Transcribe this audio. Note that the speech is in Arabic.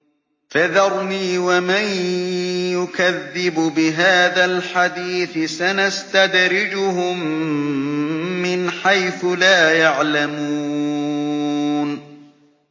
فَذَرْنِي وَمَن يُكَذِّبُ بِهَٰذَا الْحَدِيثِ ۖ سَنَسْتَدْرِجُهُم مِّنْ حَيْثُ لَا يَعْلَمُونَ